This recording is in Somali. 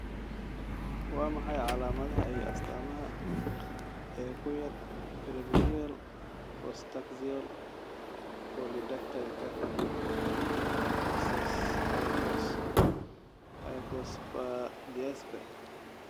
Waa maxay calaamadaha iyo astaamaha ee kuyaar Preaxial, postaxial polydactylka iyo hypospadiaska?